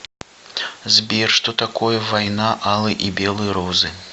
сбер что такое война алой и белой розы